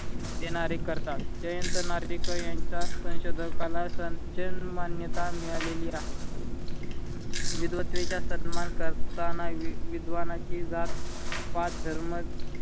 करतात. जयंत नार्वेकर यांच्या संशोधकाला सण जण मान्यता मिळालेली आहे. विद्वतेचा सन्मान करताना विद्वानाची जात पात धर्म